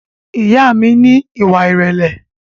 Ìyá a mi ní ìwà ìrẹ̀lẹ̀